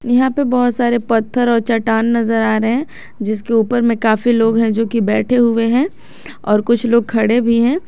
यहां पे बहुत सारे पत्थर और चट्टान नजर आ रहे हैं जिसके ऊपर में काफी लोग हैं जो की बैठे हुए हैं और कुछ लोग खड़े भी हैं।